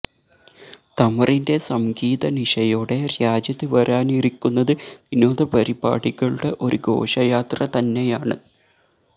തമറിന്റെ സംഗീത നിശയോടെ രാജ്യത്ത് വരാനിരിക്കുന്നത് വിനോദപരിപാടികളുടെ ഒരു ഘോഷയാത്ര തന്നെയാണ്